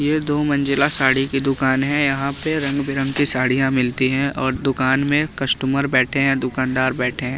ये दो मंजिला साड़ी की दुकान है यहां पे रंग बिरंगी साड़ियां मिलती हैं और दुकान में कस्टमर बैठे हैं दुकानदार बैठे हैं।